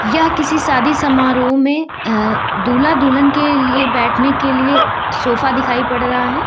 यह किसी शादी समारोह में अह दूल्हा दुल्हन के लिए बैठने के लिए सोफा दिखाई पड़ रहा है।